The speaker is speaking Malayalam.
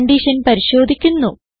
കൺഡിഷൻ പരിശോധിക്കുന്നു